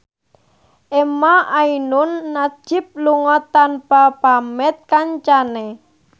emha ainun nadjib lunga tanpa pamit kancane